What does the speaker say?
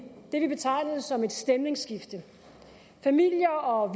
det vi betegnede som et stemningsskift familier og